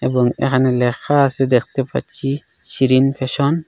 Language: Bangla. এবং এখানে লেখা আসে দেখতে পাচ্ছি সিরিন ফ্যাশন ।